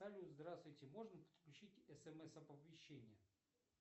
салют здравствуйте можно подключить смс оповещение